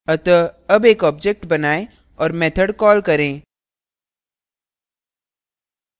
अतः अब एक object बनाएँ और method कॉल करें